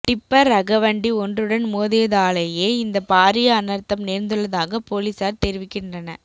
tipper ரக வண்டி ஒன்றுடன் மோதியதாலேயே இந்த பாரிய அனர்த்தம் நேர்ந்துள்ளதாக பொலிசார் தெரிவிக்கின்றன